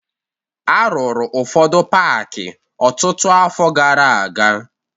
A rụrụ ụfọdụ paakị ọtụtụ afọ gara aga